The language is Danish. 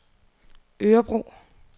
Örebro